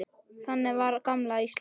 Þannig var gamla Ísland.